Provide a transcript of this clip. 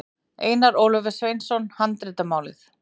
Einar Ólafur Sveinsson, Handritamálið.